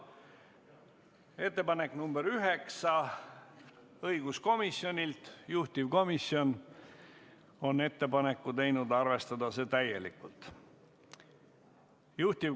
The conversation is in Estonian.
Ettepanek nr 9 on õiguskomisjonilt, juhtivkomisjon on teinud ettepaneku arvestada seda täielikult.